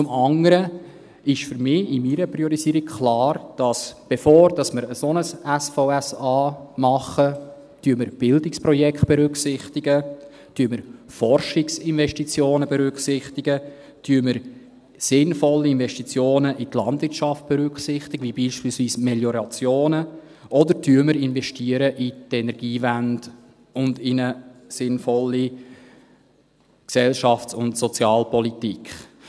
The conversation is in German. Zum anderen ist für mich in meiner Priorisierung klar, dass wir, bevor wir ein solches SVSA machen, Bildungsprojekte berücksichtigen, Forschungsinvestitionen berücksichtigen, sinnvolle Investitionen in die Landwirtschaft berücksichtigen, beispielsweise die Meliorationen, oder wir investieren in die Energiewende und in eine sinnvolle Gesellschafts- und Sozialpolitik.